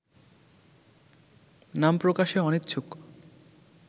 নাম প্রকাশে অনিচ্ছুক